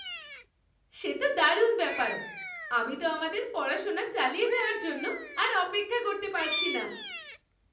সে তো দারুণ ব্যাপার! আমি তো আমাদের পড়াশোনা চালিয়ে যাওয়ার জন্য আর অপেক্ষা করতে পারছি না।